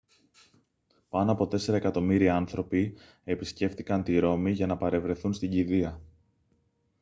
πάνω από τέσσερα εκατομμύρια άνθρωποι επισκέφτηκαν τη ρώμη για να παρευρεθούν στην κηδεία